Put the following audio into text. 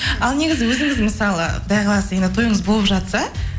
ал негізі өзіңіз мысалы құдай қаласа енді тойыңыз болып жатса